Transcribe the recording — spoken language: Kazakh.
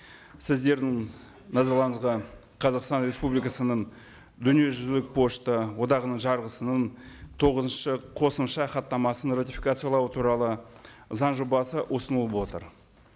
сіздердің назарларыңызға қазақстан республикасының дүниежүзілік пошта одағының жарғысының тоғызыншы қосымша хаттамасын ратификациялау туралы заң жобасы ұсынылып отыр